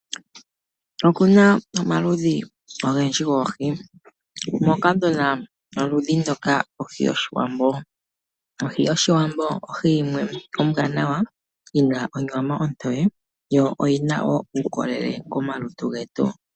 Oku na omaludhi ogendji goohi, moka tu na oluhi ndoka lwohi yOshiwambo. Ohi yOshiwambo ohi yimwe ombwanawa yi na onyama ontoye yo iyi na wo uukolele komalutu getu.